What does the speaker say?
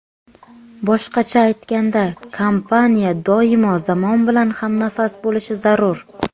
Boshqacha aytganda, kompaniya doimo zamon bilan hamnafas bo‘lishi zarur.